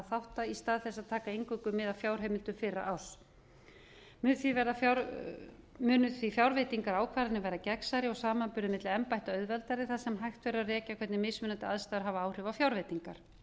þátta í stað þess að taka eingöngu mið af fjárheimildum fyrra árs munu því fjárveitingarákvarðanir verða gegnsærri og samanburður milli embætta auðveldari þar sem hægt verður að rekja hvernig mismunandi aðstæður hafa áhrif á fjárveitingar engu